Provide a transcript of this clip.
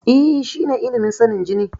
E, shine ilimin sanin jini.